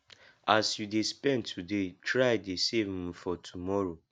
as you de spend today try dey save um for tomorrow